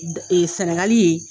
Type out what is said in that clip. Sɛnɛgali yen.